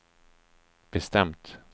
bestämt